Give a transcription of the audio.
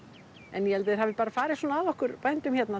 en ég held að þeir hafi bara farið svona að okkur bændum hérna